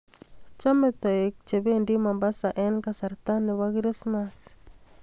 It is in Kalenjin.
Chomei toik kobendii Mombasaa eng kasarta ne bo Krismas.